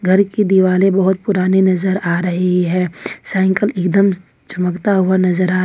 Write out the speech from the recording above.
घर की दीवाले बहुत पुराने नजर आ रही है साइकिल एकदम चमकता हुआ नजर आ--